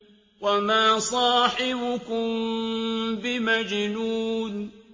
وَمَا صَاحِبُكُم بِمَجْنُونٍ